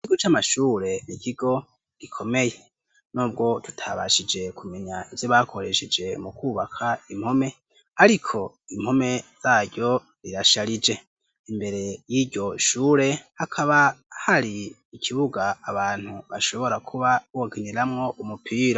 ikigu c'amashure rikigo gikomeye nubwo ikigo c'amashure n'ikigo gikomeye, n'ubwo tutabashije kumenya ivyo bakoresheje mu kubaka impome ,ariko impome zaryo zirasharije ,imbere y'iryo shure hakaba hari ikibuga abantu bashobora kuba bokiniramwo umupira.